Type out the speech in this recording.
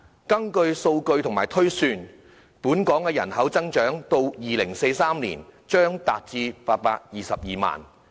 根據數據及推算，到了2043年，本港的人口將達822萬。